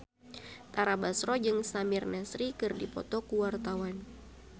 Tara Basro jeung Samir Nasri keur dipoto ku wartawan